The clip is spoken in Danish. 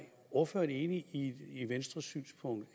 ordføreren enig i venstres synspunkt